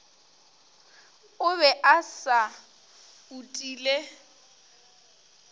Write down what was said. o be a se utile